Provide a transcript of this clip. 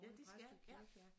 Ja de skal